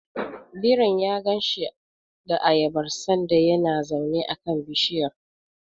Birin ya ganshi da ayabar sanda yana zaune a kan bishiyar.